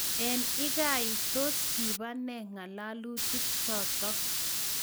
Ang ikai iih tos kibaa nee ng'alalutik chotok?